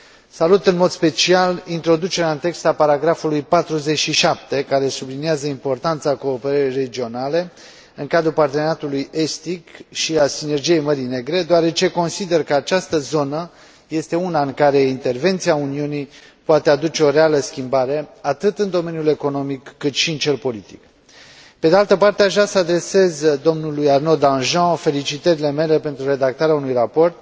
Salut în mod special introducerea în text a paragrafului 47, care subliniază importanța cooperării regionale în cadrul Parteneriatului estic și al Sinergiei Mării Negre, deoarece consider că această zonă este una în care intervenția Uniunii poate aduce o reală schimbare, atât în domeniul economic, cât și în cel politic. Pe de altă parte, aș vrea să adresez domnului Arnaud Danjean felicitările mele pentru redactarea unui raport